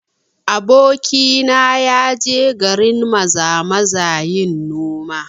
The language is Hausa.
Abokina ya je garin Maza-maza yin noma